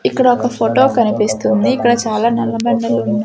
ఇక్కడ ఒక ఫోటో కనిపిస్తుంది ఇక్కడ చాలా నల్లబండలు ఉన్నాయి.